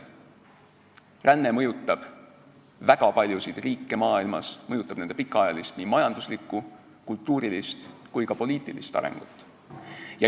Ränne mõjutab väga paljusid riike maailmas, ta mõjutab nende pikaajalist majanduslikku, kultuurilist ja ka poliitilist arengut.